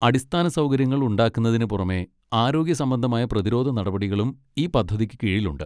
അടിസ്ഥാന സൗകര്യങ്ങൾ ഉണ്ടാക്കുന്നതിന് പുറമെ ആരോഗ്യസംബന്ധമായ പ്രതിരോധ നടപടികളും ഈ പദ്ധതിക്ക് കീഴിൽ ഉണ്ട്.